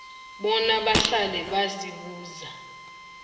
bona bahlale bazibuza